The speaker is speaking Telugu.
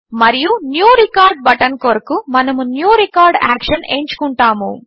మరియు న్యూ రికార్డ్ బటన్ కొరకు మనము న్యూ రికార్డ్ యాక్షన్ ఎంచుకుంటాము